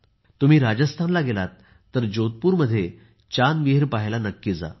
तुम्ही राजस्थानला गेलात तर जोधपूरमध्ये चांद विहीर पाहायला नक्की जा